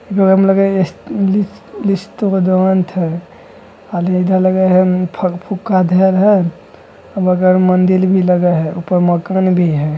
एकरा में लगे हय एस लिस-लिस्टोरोंट हय खाली एजा लगे हय उम्म फक फूक्का धेएल हय मगर मंदिल भी लगे हय ऊपर मकान भी हय।